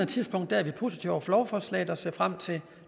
tidspunkt er vi positive over for lovforslaget og ser frem til